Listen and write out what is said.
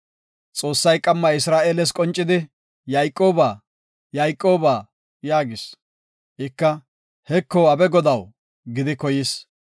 Xoossay qamma Isra7eeles qoncidi, “Yayqooba, Yayqooba” yaagis. Ika, “Heko, abe Godaw” gidi koyis.